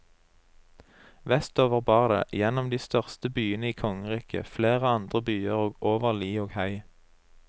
Vestover bar det, gjennom den største byen i kongeriket, flere andre byer og over li og hei.